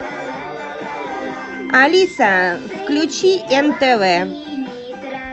алиса включи нтв